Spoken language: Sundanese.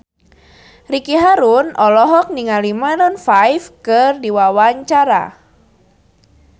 Ricky Harun olohok ningali Maroon 5 keur diwawancara